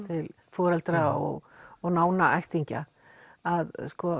foreldra og og nána ættingja að